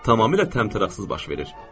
Tamamilə təmtəraqsız baş verir.